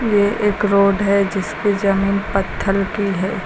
ये एक रोड है जिसकी जमीन पत्थल की है।